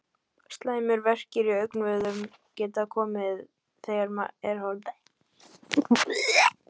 Slæmir verkir í augnvöðvum geta komið þegar horft er til hliðanna.